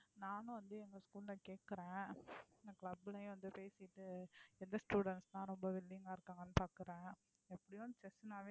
நானும் வந்து எங்க school ல கேக்குறேன் club லயும் வந்து பேசிட்டு எந்த students லாம் ரொம்ப willing ஆ இருக்காங்கன்னு பாக்குறேன். எப்படியும் chess னாவே